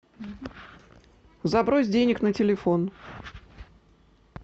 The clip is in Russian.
забрось денег на телефон